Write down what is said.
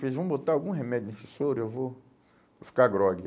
Eles vão botar algum remédio nesse soro e eu vou, vou ficar grogue.